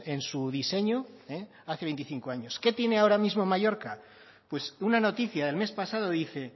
en su diseño hace veinticinco años qué tiene ahora mismo mallorca pues una noticia del mes pasado dice